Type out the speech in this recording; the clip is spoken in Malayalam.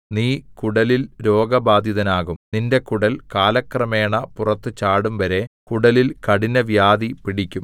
നീ കുടലിൽ രോഗബാധിതനാകും നിന്റെ കുടൽ കാലക്രമേണ പുറത്തു ചാടും വരെ കുടലിൽ കഠിന വ്യാധി പിടിക്കും